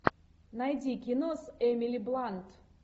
найди кино с эмили блант